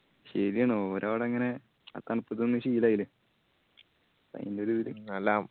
ശെരിയാണ് ഓര് അവട അങ്ങനെ ആ തണുപ്പത്ത് നിന്ന് ശീലായില്ലേ ആയിന്റൊരു